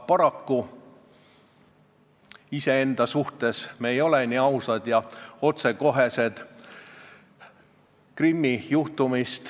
Aga iseenda vastu ei ole me paraku nii ausad ja otsekohesed.